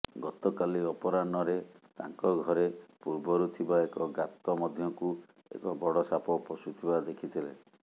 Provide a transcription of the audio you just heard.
ଗତକାଲି ଅପରାହ୍ନରେ ତାଙ୍କ ଘରେ ପୂର୍ବରୁ ଥିବା ଏକ ଗାତ ମଧ୍ୟକୁ ଏକ ବଡ଼ ସାପ ପଶୁଥିବା ଦେଖିଥିଲେ